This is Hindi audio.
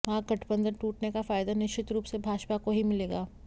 महागठबंधन टूटने का फायदा निश्चित रूप से भाजपा को ही मिलेगा